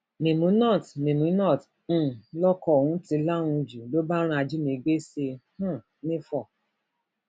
mèmúnát mèmúnát um lọkọ òun ti lahùn jù lọ bá ran ajínigbé sí i um nifó